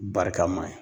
Barikama ye